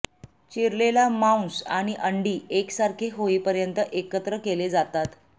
चिरलेला मांस आणि अंडी एकसारखे होईपर्यंत एकत्र केले जातात